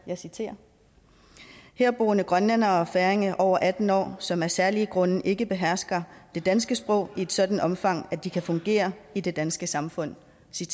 jeg citerer herboende grønlændere og færinger over atten år som af særlige grunde ikke behersker det danske sprog i et sådant omfang at de kan fungere i det danske samfund